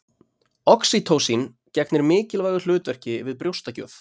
Oxýtósín gegnir mikilvægu hlutverki við brjóstagjöf.